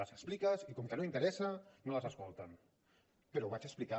les expliques i com que no interessa no les escolten però ho vaig explicar